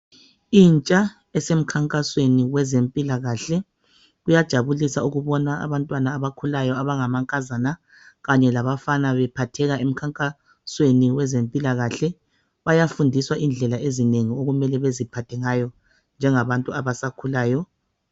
Intsha esemkhankasweni yabezempilakahle kuyajabulisa ukubona abantwana abamangankazana kanye labafana bephatheka emkhankasweni wabezempilakahle bayafundiswa indlela ezinengi okufuze beziphathe ngayo njengabantu abasakhulayo.